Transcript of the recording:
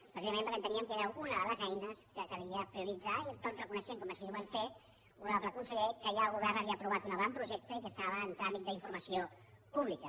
precisament perquè enteníem que era una de les eines que calia prioritzar tot reconeixent com així ho vam fer honorable conseller que ja el govern havia aprovat un avantprojecte i que estava en tràmit d’informació pública